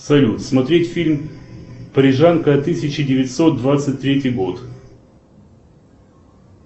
салют смотреть фильм парижанка тысяча девятьсот двадцать третий год